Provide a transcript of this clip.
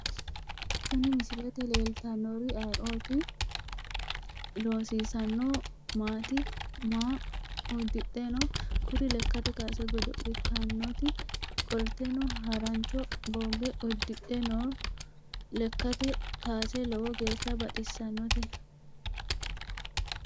Kuri misilete leeltannori ayeeooti? loosinsano maati? Maa uddidhe no? Kuri lekkate kaase godo'laanooti qolteno harancho bogge uddidhe no lekkate kaase lowo geeshsha baxissannote